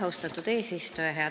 Austatud eesistuja!